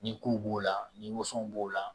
Ni kow b'o la ni woso b'o la